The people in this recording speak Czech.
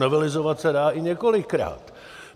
Novelizovat se dá i několikrát.